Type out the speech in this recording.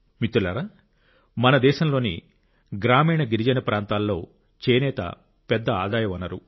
మిత్రులారా మన దేశంలోని గ్రామీణ గిరిజన ప్రాంతాల్లో చేనేత పెద్ద ఆదాయ వనరు